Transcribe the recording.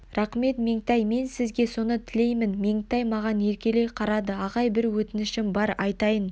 рақмет меңтай мен де сізге соны тілеймін меңтай маған еркелей қарады ағай бір өтінішім бар айтайын